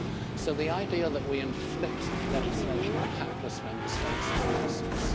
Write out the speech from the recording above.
So the idea that we inflict legislation on hapless Member States is nonsense.